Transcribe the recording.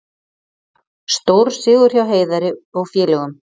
Stórsigur hjá Heiðari og félögum